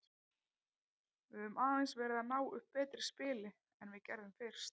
Við höfum aðeins verið að ná upp betra spili en við gerðum fyrst.